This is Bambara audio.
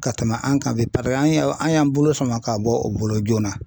Ka tɛmɛ an kan bi an ye an y'an bolo sama ka bɔ u bolo joona